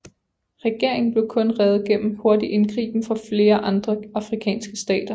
Regeringen blev kun reddet gennem hurtig indgriben fra flere andre afrikanske stater